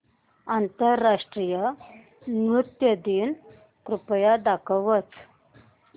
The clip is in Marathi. आंतरराष्ट्रीय नृत्य दिन कृपया दाखवच